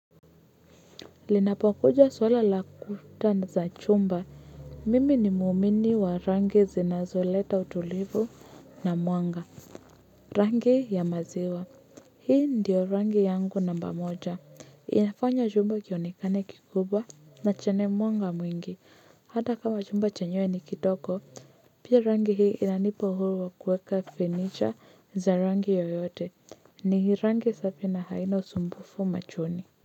Linapokuja swala la kuta za chumba, mimi ni muumini wa rangi zinazo leta utulivu na mwanga, rangi ya maziwa, hii ndiyo rangi yangu namba moja, inafanya chumba kionekane kikuba na chenye meanga mwingi, hata kama chumba chenyewe ni kidogo, pia rangi hii inanipa uhuru wa kuweka fanicha za rangi yoyote, ni rangi safi na haina usumbufu machoni.